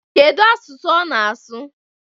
Kedu asụsụ ọ na-asụ?